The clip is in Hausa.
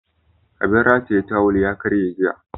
Abin rataye tawul ya karye jiya.